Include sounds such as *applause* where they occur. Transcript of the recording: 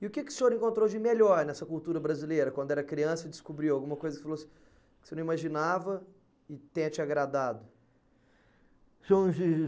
E o que que o senhor encontrou de melhor nessa cultura brasileira, quando era criança e descobriu alguma coisa e falou assim, que você não imaginava e tenha te agradado? *unintelligible*